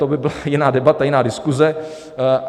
To by byla jiná debata, jiná diskuze.